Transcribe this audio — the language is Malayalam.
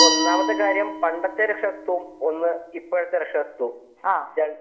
ഒന്നാമത്തെ കാര്യം പണ്ടത്തെ രക്ഷാകർതൃത്വം ഇപ്പോഴത്തെ രക്ഷാകർതൃത്വവും